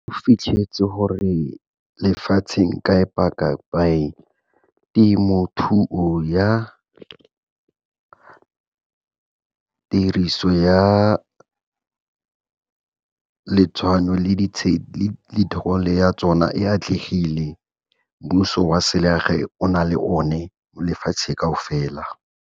O fitlhetse gore lefatsheng temothuo ya tiriso ya ya tsona e atlegile, mmuso wa selegae o na le o ne lefatshe kaofela.